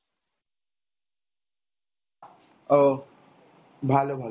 ওহ ভালো ভালো।